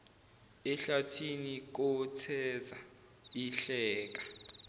ehlathini kotheza ihleka